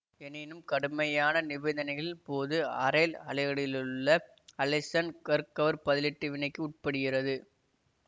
எனினும் கடுமையான நிபந்தனைகள்ன் போது அரைல் அலைடுகளிலுள்ள அலைசன் கர்க்கவர் பதிலீட்டு வினைக்கு உட்படுகிறது